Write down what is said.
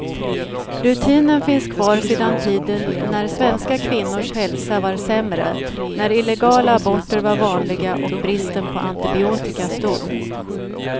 Rutinen finns kvar sedan tiden när svenska kvinnors hälsa var sämre, när illegala aborter var vanliga och bristen på antibiotika stor.